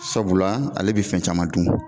Sabula ale bɛ fɛn caman dun